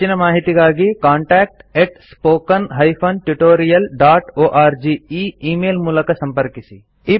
ಹೆಚ್ಚಿನ ಮಾಹಿತಿಗಾಗಿ contactspoken tutorialorg ಈ ಈ ಮೇಲ್ ಮೂಲಕ ಸಂಪರ್ಕಿಸಿ